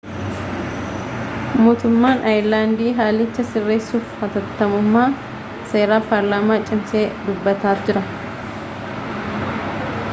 mootummaan aayerlaandii haalicha sirreessuuf haatattamummaa seera paarlaamaa cimsee dubbataa jira